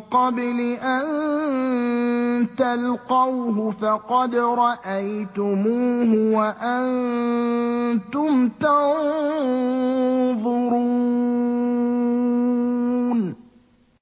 قَبْلِ أَن تَلْقَوْهُ فَقَدْ رَأَيْتُمُوهُ وَأَنتُمْ تَنظُرُونَ